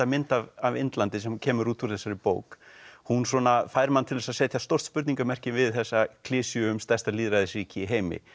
mynd af Indlandi sem kemur út úr þessari bók hún svona fær mann til þess að setja stórt spurningamerki við þessa klisju um stærsta lýðræðisríki í heimi